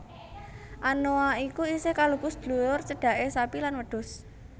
Anoa iku isih kalebu sedulur cedhake sapi lan wedhus